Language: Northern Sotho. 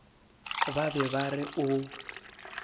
ba be ba re o